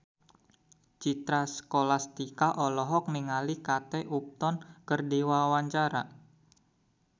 Citra Scholastika olohok ningali Kate Upton keur diwawancara